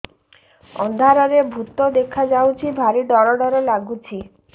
ଅନ୍ଧାରରେ ଭୂତ ଦେଖା ଯାଉଛି ଭାରି ଡର ଡର ଲଗୁଛି